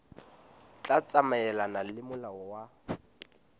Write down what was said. tla tsamaelana le molao wa